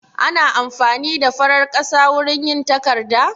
Ana amfani da farar ƙasa wurin yin takarda?